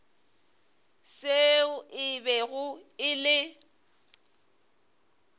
seo e bego e le